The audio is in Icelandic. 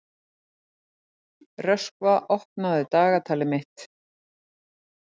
Röskva, opnaðu dagatalið mitt.